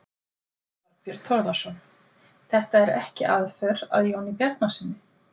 Þorbjörn Þórðarson: Þetta er ekki aðför að Jóni Bjarnasyni?